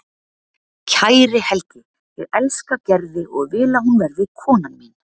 Kæri Helgi, ég elska Gerði og vil að hún verði konan mín.